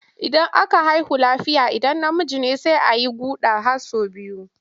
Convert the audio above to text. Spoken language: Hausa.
Idan aka haihu lafiya idan namiji ne sai a yi guɗa sau biyu.